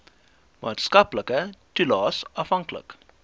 maatskaplike toelaes afhanklik